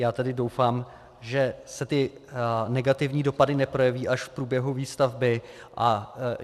Já tedy doufám, že se ty negativní dopady neprojeví až v průběhu výstavby.